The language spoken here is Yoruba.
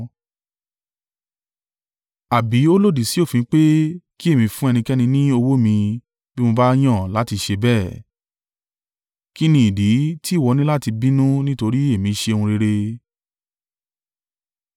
Àbí ó lòdì sí òfin pé kí èmi fún ẹnikẹ́ni ní owó mi bí mo bá yàn láti ṣe bẹ́ẹ̀? Kí ni ìdí tí ìwọ ní láti bínú nítorí èmi ṣe ohun rere?’